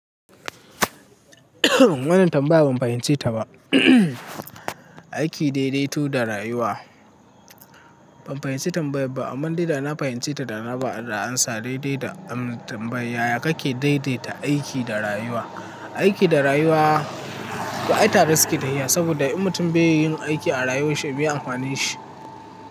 Wannan tambaya ban fahimci ta ba. Aiki daidaitu da rayuwa. Ban fahimci tambayar ba, amma dai na fahimci ta da na ba da amsa. Daidai da am tambaya, yake daidaita aiki da rayuwa. Aiki da rayuwa, to ai tare suke tahiya saboda in mutum bai yin aiki a rayuwarshi, meye amfaninshi.